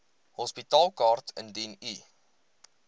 hospitaalkaart indien u